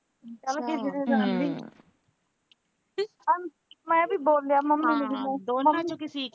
ਮੈਂ ਵੀ ਬੋਲਿਆ